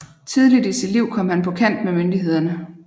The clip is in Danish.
Tidligt i sit liv kom han på kant med myndighederne